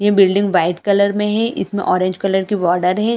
ये building white colour में है इसमें ऑरेंज कलर की बॉर्डर है।